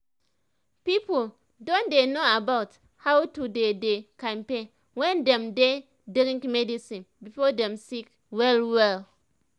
people don dey know about how to dey dey kampe when dem dey drink medicine before dem sick well well